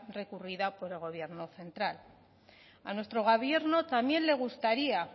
recurrida por el gobierno central a nuestro gobierno también le gustaría